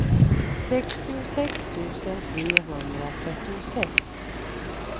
sextiosex tusen trehundratrettiosex